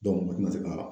u tɛna se ka